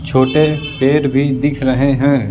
छोटे पेड़ भी दिख रहे हैं।